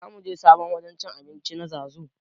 Zamuje sabon wajen cin abincin nan zazu